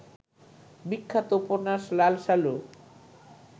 বিখ্যাত উপন্যাস লালসালু